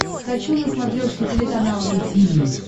хочу на смотрешке телеканал ру ти ви